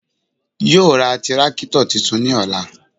Yoo ra tírákítọ̀ tuntun ní ọ̀la